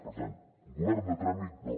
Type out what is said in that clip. per tant govern de tràmit no